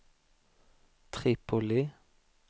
Tripoli